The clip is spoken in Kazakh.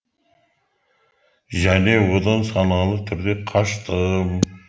және одан саналы түрде қаштым